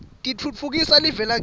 titfutfukisa live lakitsi